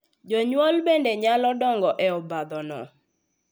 Jonyuol bende nyalo donjo e obadhono .